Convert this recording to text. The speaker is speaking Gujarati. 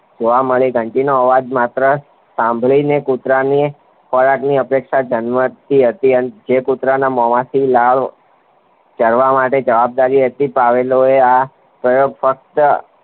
જોવા મળી ધંટીનો આવાજ માત્ર સાંભળીને કૂતરાની ખોરાકની અપેક્ષા જન્મતી હતી અને જેકુતરાના મોમાંથી લાળ જળવા માટે જવાબદારી હતી પાવલોયે આ તેને ફક્ત